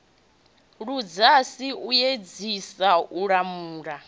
ludzhasi o edzisa u lamula